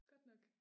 Godt nok